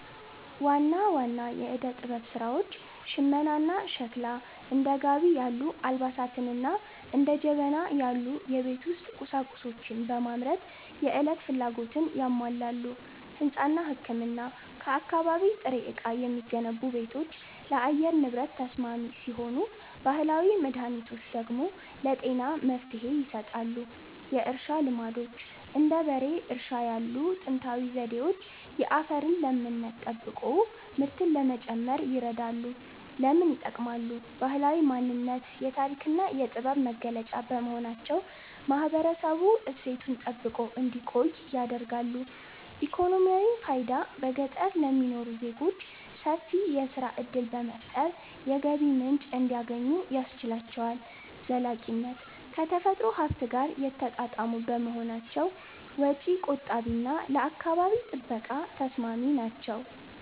ዋና ዋና የዕደ-ጥበብ ሥራዎች ሽመናና ሸክላ፦ እንደ ጋቢ ያሉ አልባሳትንና እንደ ጀበና ያሉ የቤት ውስጥ ቁሳቁሶችን በማምረት የዕለት ፍላጎትን ያሟላሉ። ሕንጻና ሕክምና፦ ከአካባቢ ጥሬ ዕቃ የሚገነቡ ቤቶች ለአየር ንብረት ተስማሚ ሲሆኑ፣ ባህላዊ መድኃኒቶች ደግሞ ለጤና መፍትሔ ይሰጣሉ። የእርሻ ልማዶች፦ እንደ በሬ እርሻ ያሉ ጥንታዊ ዘዴዎች የአፈርን ለምነት ጠብቆ ምርትን ለመጨመር ይረዳሉ። ለምን ይጠቅማሉ? ባህላዊ ማንነት፦ የታሪክና የጥበብ መገለጫ በመሆናቸው ማህበረሰቡ እሴቱን ጠብቆ እንዲቆይ ያደርጋሉ። ኢኮኖሚያዊ ፋይዳ፦ በገጠር ለሚኖሩ ዜጎች ሰፊ የሥራ ዕድል በመፍጠር የገቢ ምንጭ እንዲያገኙ ያስችላቸዋል። ዘላቂነት፦ ከተፈጥሮ ሀብት ጋር የተጣጣሙ በመሆናቸው ወጪ ቆጣቢና ለአካባቢ ጥበቃ ተስማሚ ናቸው።